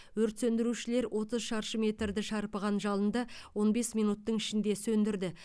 өрт сөндірушілер отыз шаршы метрді шарпыған жалынды он бес минуттың ішінде сөндірді